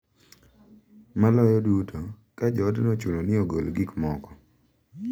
Maloyo duto, ka joodno ochuno ni ogol gik moko .